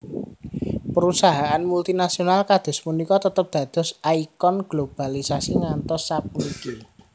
Perusahaan multinasional kados puniki tetep dados ikon globalisasi ngantos sapuniki